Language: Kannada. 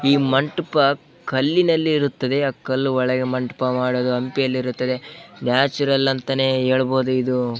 ಈ ಮಂಟಪ ಕಲ್ಲಿನಲ್ಲಿ ಇರುತ್ತದೆ ಆ ಕಲ್ಲು ಒಳಗೆ ಮಂಟಪ ಮಾಡೋದು ಹಂಪಿಯಲ್ಲಿ ಇರುತ್ತದೆ ನ್ಯಾಚುರಲ್ ಅಂತಾನೆ ಹೇಳ್ಬಹುದು ಇದು.